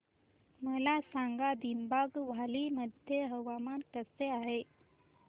मला सांगा दिबांग व्हॅली मध्ये हवामान कसे आहे